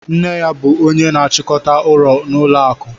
Nne ya bụ ónyé na-achikọta ọrụ n'ụlọ akụ.